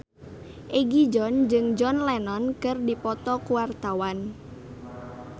Egi John jeung John Lennon keur dipoto ku wartawan